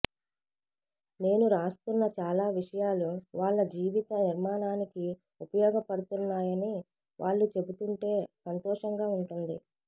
నేను రాస్తున్న చాలా విషయాలు వాళ్ల జీవిత నిర్మాణానికి ఉపయోగపడ్తున్నాయని వాళ్లు చెబుతుంటే సంతోషంగా ఉంటుంది